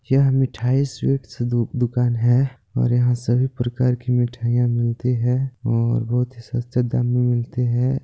यह मिठाई स्वीट्स दुक दुकान है और यहां सभी प्रकार की मिठाईयाँ मिलती है और बहुत ही सस्ते दाम मे मिलती है।